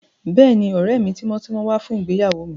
Bẹ́ẹ̀ni, ọ̀rẹ́ mi tímọ́tímọ́ wá fún ìgbéyàwó mi